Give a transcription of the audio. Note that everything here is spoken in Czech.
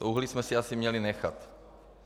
To uhlí jsme si asi měli nechat.